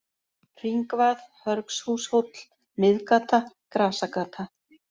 Hringvað, Hörgshúshóll, Miðgata, Grasagata